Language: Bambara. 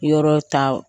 Yɔrɔ ta